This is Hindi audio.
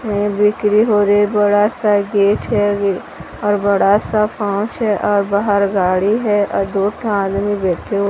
ये बिक्री हो रही बड़ा सा गेट है और बड़ा सा पाउच है और बाहर गाड़ी है और दूसरा आदमी बैठे हु--